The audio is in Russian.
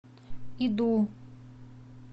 иду